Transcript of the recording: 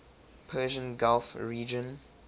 persian gulf region